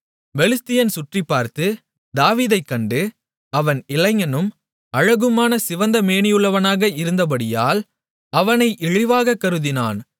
பெலிஸ்தியன் சுற்றிப்பார்த்து தாவீதைக் கண்டு அவன் இளைஞனும் அழகுமான சிவந்த மேனியுள்ளவனுமாக இருந்தபடியால் அவனை இழிவாகக் கருதினான்